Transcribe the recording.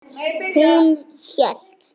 Hún hélt.